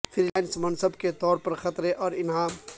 free lance مصنف کے طور پر خطرے اور انعام